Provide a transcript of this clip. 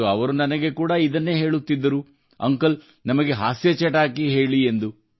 ಮತ್ತು ಅವರು ನನಗೆ ಕೂಡಾ ಇದೇ ಹೇಳುತ್ತಿದ್ದರು ಅಂಕಲ್ ನಮಗೆ ಹಾಸ್ಯ ವಿಷಯ ಹೇಳಿ ಎಂದು